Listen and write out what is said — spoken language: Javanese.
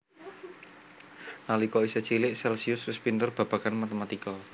Nalika isih cilik Celcius wis pinter babagan matematika